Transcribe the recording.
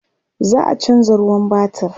za'a chanza ruwan batir